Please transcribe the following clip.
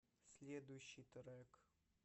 следующий трек